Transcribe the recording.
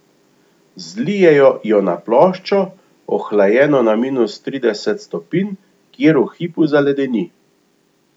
Zlijejo jo na ploščo, ohlajeno na minus trideset stopinj, kjer v hipu zaledeni.